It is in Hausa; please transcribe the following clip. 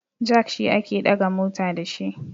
jak shi ake daga mota da shi